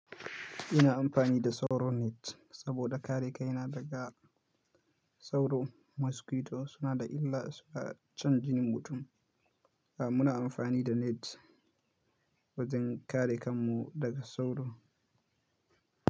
Ina amfani da sauro net saboda kare kaina daga sauro. Mosquito suna da illa, su na shan jinin mutum. A muna amfani da net wajen kare kanmu daga sauro.